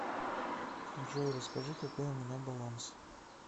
джой расскажи какой у меня баланс